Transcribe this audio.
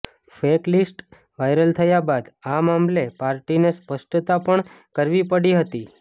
fake list viral થયા બાદ આ મામલે પાર્ટીને સ્પષ્ટતા પણ કરવી પડી હતી